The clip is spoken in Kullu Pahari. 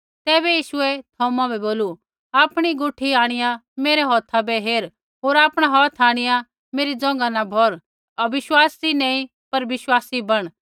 तैबै यीशुऐ थौमा बै बोलू आपणी गुठी आंणिआ मेरै हौथा बै हेर होर आपणा हौथ आंणिआ मेरै जोंघा न भौर होर अविश्वासी नैंई पर विश्वासी बण